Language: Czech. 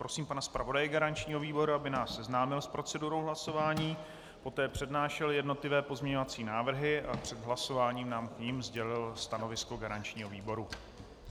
Prosím pana zpravodaje garančního výboru, aby nás seznámil s procedurou hlasování, poté přednášel jednotlivé pozměňovací návrhy a před hlasováním nám k nim sdělil stanovisko garančního výboru.